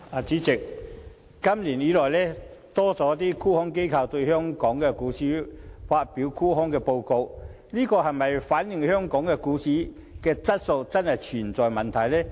主席，今年有多間沽空機構針對香港股市發表沽空報告，這是否反映香港股市的質素真的存在問題？